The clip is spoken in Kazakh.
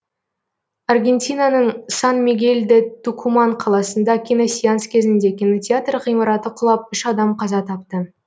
аргентинаның сан мигель де тукуман қаласында киносеанс кезінде кинотеатр ғимараты құлап үш адам қаза тапты